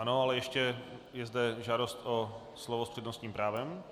Ano, ale ještě je zde žádost o slovo s přednostním právem.